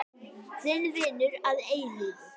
Þinn vinur að eilífu.